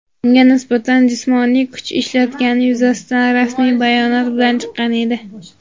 unga nisbatan jismoniy kuch ishlatgani yuzasidan rasmiy bayonot bilan chiqqan edi.